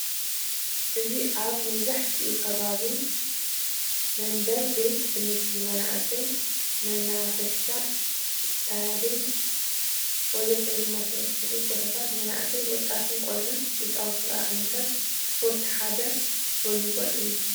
እዚ አብ መብዛሕትኡ ከባቢ መንደር፣ ቤት ትምህርቲ፣ መናአሰይ መናፈሻ ፣ ስታዴም ወዘተ ዝመሳሰሉ ቦታታት መንአሰይ፣ ወጣትን ቆልዑትን ዝፃወትሉ ካብ ዓይነታት ስፖርት ሐደ ቨሊቦል እዩ።